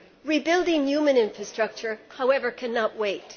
Rebuilding human infrastructure, however, cannot wait.